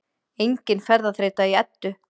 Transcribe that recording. Engin ferðaþreyta í Eddu